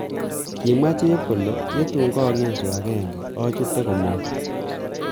Kimwa chep kole,"ye tun kagesu ag'enge achute komong'."